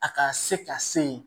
A ka se ka se yen